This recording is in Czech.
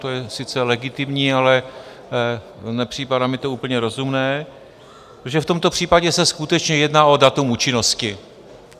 To je sice legitimní, ale nepřipadá mi to úplně rozumné, protože v tomto případě se skutečně jedná o datum účinnosti.